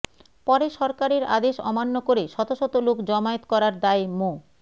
পরে সরকারের আদেশ অমান্য করে শতশত লোক জমায়েত করার দায়ে মো